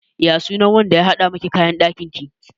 Ya sunan wanda ya haɗa miki kayan ɗakin ki?